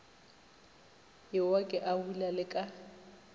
ewa ke abula le ka